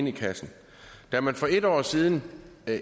i kassen da man for en år siden